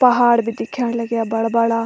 पहाड़ भी दिख्येण लग्याँ बड़ा बड़ा।